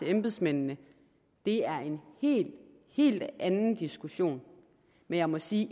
embedsmændene er en helt helt anden diskussion men jeg må sige